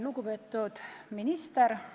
Lugupeetud minister!